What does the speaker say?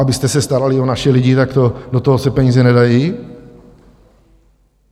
Abyste se starali o naše lidi, tak do toho se peníze nedají?